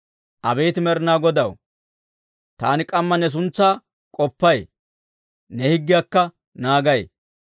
Abeet Med'inaa Godaw, taani k'amma ne suntsaa k'oppay; ne higgiyaakka naagay.